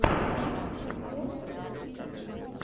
ремикс морфл ти ви